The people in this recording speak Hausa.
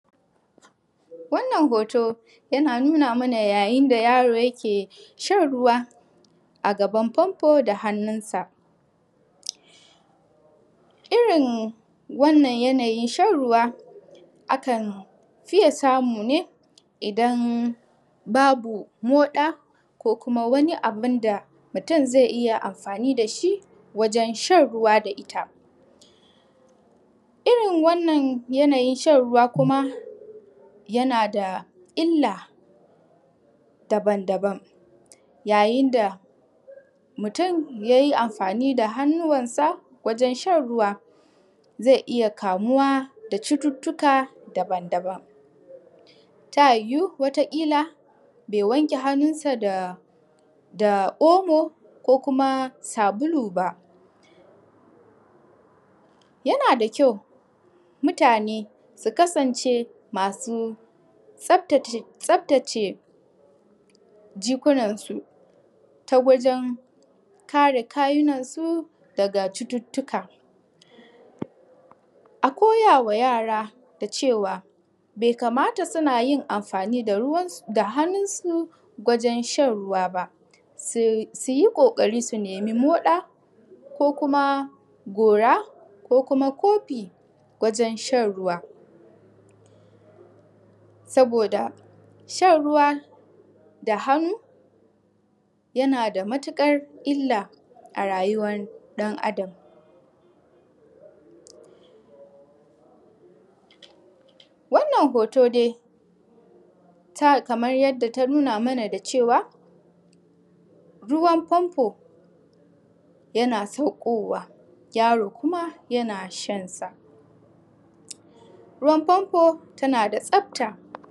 Wannan hot yana nuna mana ya yinda yaro yake shan ruwa a gaban famfo da hannunsa.irrin wannan yanayin shan ruwa fiye samu ne idan Babu moda ko kuma Wani abinda mutun zai iyya amfani dashi wajen shan ruwa da itta. Irrin wannan yanayin shan ruwa kuma yanada illa daban daban, ya yinda mutun yayi amfani da hannuwansa wajen shan ruwa zai iyya kamuwa da cututtuka daban daban. Ta yiwu wata kila bai wanke hanunsa da omo da sabulu ba. Ya nada kyau mutane su kasance masu tsaftace jikunan su ta wajen kare kawunan su daga cututtuka, a koyawa yara cewa bai kamata suna yin amfani da hannunsu wajen shan ruwa ba, suyi koƙari su naimi moɗa ko kuma gora ko kuma kofi wajen shan ruwa. Saboda shan ruwa da hannu yanada matukar Illa a rayuwar ɗan Adam. Wannan har dai kamar yadda ta nuna mana da cewa ruwan fanfo Yana sakkowa yaro kuma yana shansa, ruwan famfo ta nada tsafta.